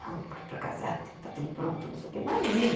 Não, porque para casar tem que estar tudo pronto, não sei o que, imagina.